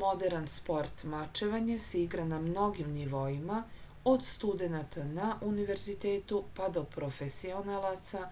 moderan sport mačevanje se igra na mnogim nivoima od studenata na univerzitetu pa do profesionalaca